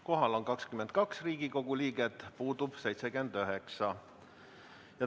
Kohal on 22 Riigikogu liiget, puudub 79.